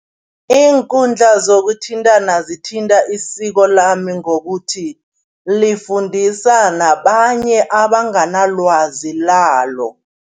Iinkundla zokuthintana zithinta isiko lami ngokuthi, lifundisa nabanye abanganalwazi lalo.